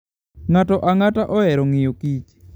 Ng'ato ang'ata ohero ng'iyokich.